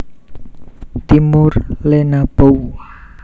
Timor lenabou